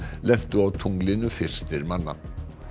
lentu á tunglinu fyrstir manna